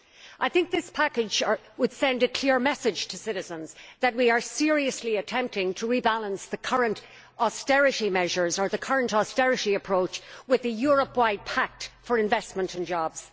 I think this package would send a clear message to citizens that we are seriously attempting to rebalance the current austerity measures or the current austerity approach with the Europe wide pact for investment and jobs.